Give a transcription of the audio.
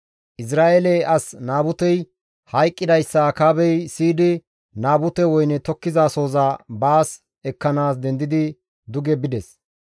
Izra7eele as Naabutey hayqqidayssa Akaabey siyidi Naabute woyne tokkizasohoza baas ekkanaas dendidi duge bides.